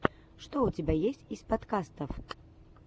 что у тебя есть из подкастов